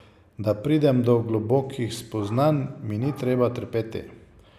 Da pridem do globokih spoznanj, mi ni treba trpeti.